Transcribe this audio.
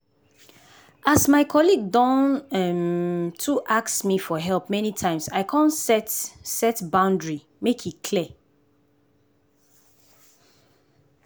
as my colleague don um too ask me for help many times i come set set boundary make e clear.